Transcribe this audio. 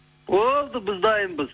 болды біз дайынбыз